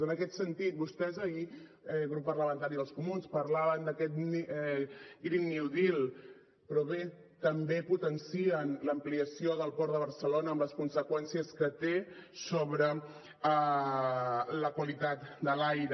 en aquest sentit vostès ahir grup parlamentari dels comuns parlaven d’aquest green new deal però bé també potencien l’ampliació del port de barcelona amb les conseqüències que té sobre la qualitat de l’aire